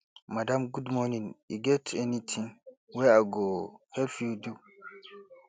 madam good morning e get anytin wey i go help you do